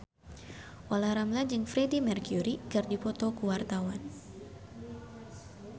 Olla Ramlan jeung Freedie Mercury keur dipoto ku wartawan